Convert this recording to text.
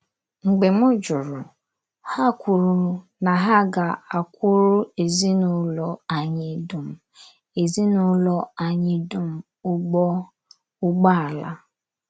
Mgbe m jụrụ, ha kwuru na ha ga - akwuru ezinụlọ anyị dum ezinụlọ anyị dum ụgbọ ụgbọala.